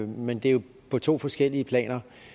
men det er jo på to forskellige planer